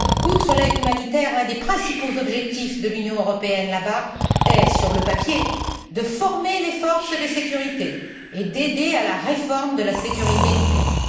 Outre l'aide humanitaire, l'un des principaux objectifs de l'Union européenne est, sur le papier, d'y former les forces de sécurité et d'aider à la réforme de la sécurité du pays.